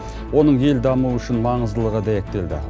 оның ел дамуы үшін маңыздылығы дәйектелді